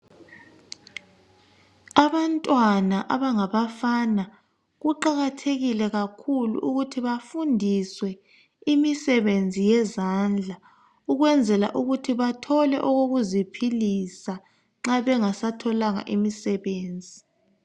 Abantwana abangabafana kuqakathekile kakhulu ukuthi bafundiswe imisebenzi yezandla ukwenzela ukuthi bathole okokuziphilisa nxa bengasatholanga imisebenzi.